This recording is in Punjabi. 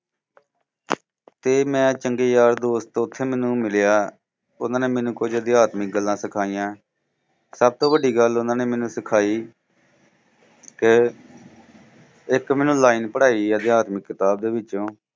ਤੇ ਮੈਂ ਚੰਗੇ ਯਾਰ ਦੋਸਤ ਉੱਥੇ ਮੈਨੂੰ ਮਿਲਿਆ। ਉਹਨਾਂ ਨੇ ਮੈਨੂੰ ਕੁਝ ਅਧਿਆਤਮਿਕ ਗੱਲਾਂ ਸਿਖਾਈਆਂ ਸਭ ਤੋਂ ਵੱਡੀ ਗੱਲ ਉਹਨਾਂ ਨੇ ਮੈਨੂੰ ਸਿਖਾਈ ਕਿ ਇੱਕ ਮੈਨੂੰ line ਪੜ੍ਹਾਈ ਅਧਿਆਤਮਿਕਤਾ ਦੇ ਵਿੱਚੋਂ